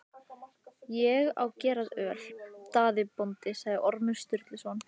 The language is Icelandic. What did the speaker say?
Ég á gerjað öl, Daði bóndi, sagði Ormur Sturluson.